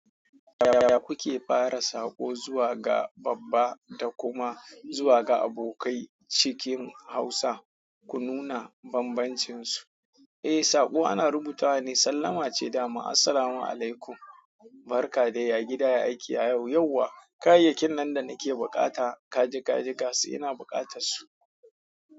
Yaya kuke fara sako zuwa ga babba da kuma zuwa ga abokai cikin hausa? Ku nuna bambancinsu. Eh, saƙo ana rubuta wa ne. Sallama ce dama. Assalamu alaikum, barka de, ya gida, ya aiki, ya yau, yauwa? Kayayyakin nan da nake bukata, kaji, kaji gasu ina bukatarsu.